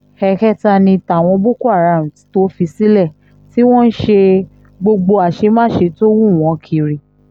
ẹ̀ẹ̀kẹta ni tàwọn boko haram tó fi sílẹ̀ tí wọ́n ń ṣe gbogbo àṣemáṣe tó wú wọn kiri